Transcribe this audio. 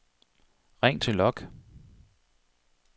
ring til log